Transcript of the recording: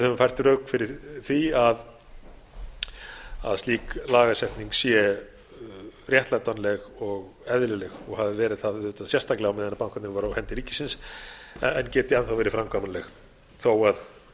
höfum fært rök fyrir því að slík lagasetning sé réttlætanleg og eðlileg og hafi verið það sérstaklega á meðan bankarnir voru á hendi ríkisins en geti enn þá verið framkvæmanleg þó að